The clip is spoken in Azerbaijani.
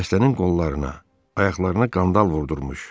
xəstənin qollarına, ayaqlarına qandal vurdurmuş.